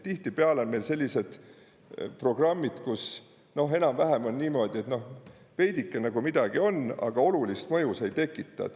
Tihtipeale on meil sellised programmid, kus enam-vähem on niimoodi, et veidike nagu midagi on, aga olulist mõju see ei tekita.